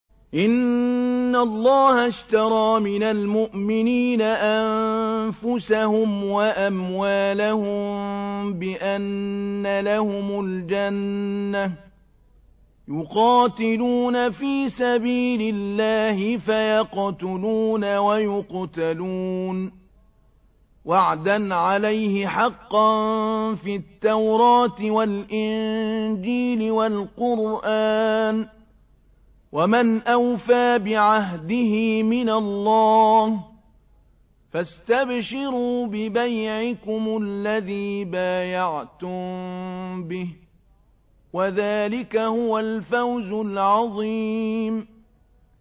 ۞ إِنَّ اللَّهَ اشْتَرَىٰ مِنَ الْمُؤْمِنِينَ أَنفُسَهُمْ وَأَمْوَالَهُم بِأَنَّ لَهُمُ الْجَنَّةَ ۚ يُقَاتِلُونَ فِي سَبِيلِ اللَّهِ فَيَقْتُلُونَ وَيُقْتَلُونَ ۖ وَعْدًا عَلَيْهِ حَقًّا فِي التَّوْرَاةِ وَالْإِنجِيلِ وَالْقُرْآنِ ۚ وَمَنْ أَوْفَىٰ بِعَهْدِهِ مِنَ اللَّهِ ۚ فَاسْتَبْشِرُوا بِبَيْعِكُمُ الَّذِي بَايَعْتُم بِهِ ۚ وَذَٰلِكَ هُوَ الْفَوْزُ الْعَظِيمُ